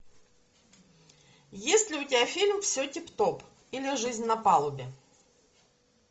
есть ли у тебя фильм все тип топ или жизнь на палубе